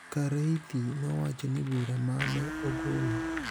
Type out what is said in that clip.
Kareithi nowacho ni bura ma ne ogolo